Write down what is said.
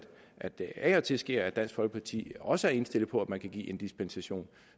at det af og til er sket at dansk folkeparti også var indstillet på at give dispensation